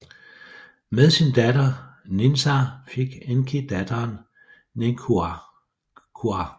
Men sin datter Ninsar fik Enki datteren Ninkurra